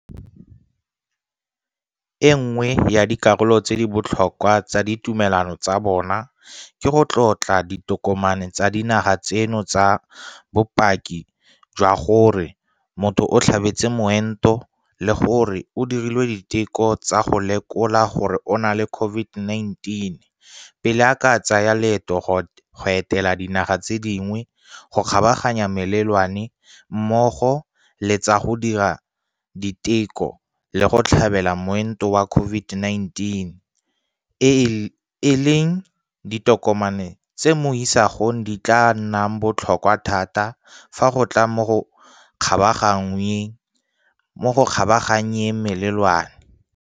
E nngwe ya dikarolo tse di botlhokwa tsa ditumelano tsa bona ke go tlotla ditokomane tsa dinaga tseno tsa bopaki jwa gore motho o tlhabetse moento le gore o dirilwe diteko tsa go lekola gore o na le COVID-19 pele a ka tsaya leeto go etela dinaga tse dingwe go kgabaganya melelwane mmogo le tsa go dira diteko le go tlhabela moento wa COVID-19 e leng ditokomane tse mo isagong di tla nnang botlhokwa thata fa go tla mo go kgabaganyeng melelwane.